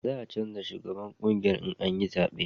za a canja shugaban ƙungiya in an yi zabe